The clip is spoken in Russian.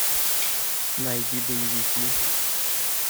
найди боевики